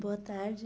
Boa tarde.